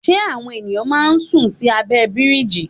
Ṣé àwọn ènìyàn máa ń sùn sí abẹ́ bíríjì?